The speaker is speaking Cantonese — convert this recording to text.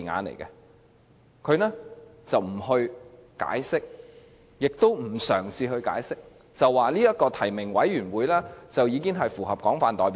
八三一方案既不解釋，也不嘗試解釋，只說提名委員會符合廣泛代表性。